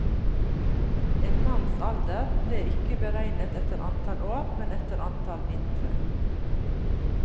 En manns alder ble ikke beregnet etter antall år, men etter antall vintre.